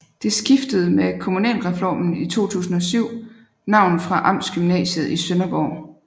Det skiftede med kommunalreformen i 2007 navn fra Amtsgymnasiet i Sønderborg